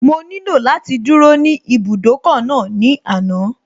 Mo nílò láti dúró ní ibùdókọ̀ náà ní àná